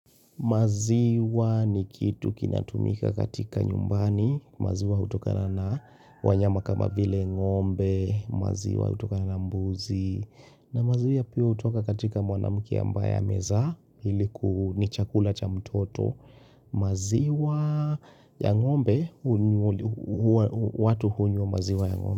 Maziwa ni kitu kinatumika katika nyumbani. Maziwa hutokana na wanyama kama vile ng'ombe maziwa hutokana na mbuzi na maziwa pia hutoka katika mwanamke ambaye amezaa ili ni chakula cha mtoto maziwa ya ng'ombe watu hunywa maziwa ya ng'ombe.